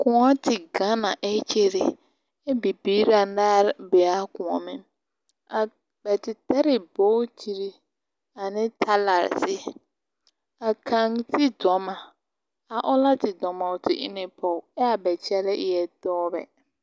Kõͻ te gaŋe na ԑ kyere, ԑ bibiiri anaare bee a kõͻmeŋ. A bԑ te tare ne bootiri ane talarezeere. A kaŋ sigi dͻma. A oŋ na te dͻma o te e ne pͻge aa ba kyԑlԑԑ na eԑԑ dͻͻbԑ.